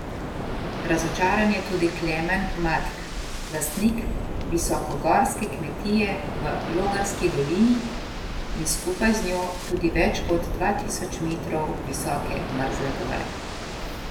Razočaran je tudi Klemen Matk, lastnik visokogorske kmetije v Logarski dolini in skupaj z njo tudi več kot dva tisoč metrov visoke Mrzle gore.